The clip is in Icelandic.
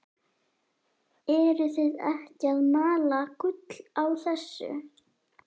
Eruð þið ekki að mala gull á þessu?